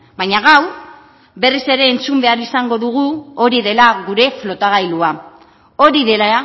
baina gaur berriz ere entzun behar izango dugu hori dela gure flotagailua hori dela